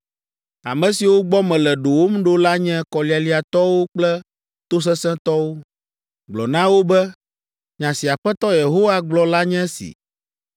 Ame siwo gbɔ mele ɖowòm ɖo la nye kɔlialiatɔwo kple tosesẽtɔwo. Gblɔ na wo be, ‘Nya si Aƒetɔ Yehowa gblɔ la nye esi.